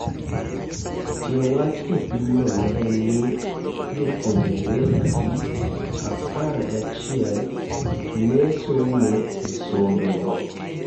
Tie wach e pim no nen ni jopuonjre adi apar gachiel nesomo e sombe go